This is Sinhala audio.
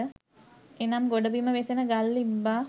එනම් ගොඩබිම වෙසෙන ගල් ඉබ්බා